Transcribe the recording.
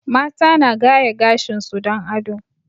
Mata na gaya gashin su don ado